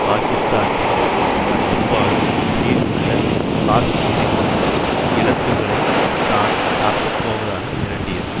பாகிஸ்தானின் கட்டுப்பாட்டின் கீழ் உள்ள காஷ்மீரில் உள்ள இலக்குகளை தான் தாக்கப் போவதாக மிரட்டியது